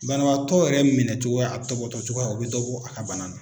Banabatɔ yɛrɛ minɛcogoya a tɔpɔtɔ cogoya o bɛ dɔ bɔ a ka bana na.